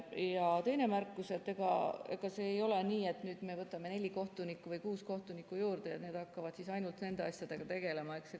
Ja teine märkus: ega see ei ole nii, et nüüd me võtame neli kohtunikku või kuus kohtunikku juurde ja need hakkavad siis ainult nende asjadega tegelema.